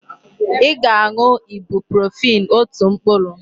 Ị ga-aṅụ Ibuprofen otu mkpụrụ!